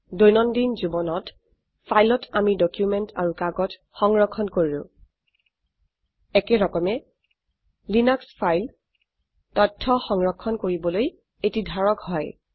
দৈনন্দিন জীবনত ফাইলত আমি ডকুমেন্ট আৰু কাগজ সংৰক্ষণ কৰো একেৰকমে লিনাক্স ফাইল তথ্য সংৰক্ষণ কৰিবলৈ এটি ধাৰক হয়